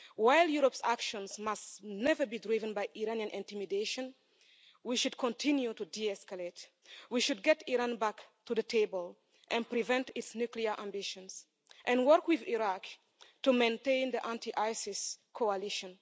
While Europe's actions must never be driven by Iranian intimidation, we should continue to de-escalate, we should get Iran back to the table and prevent its nuclear ambitions and work with Iraq to maintain the anti-ISIS coalition.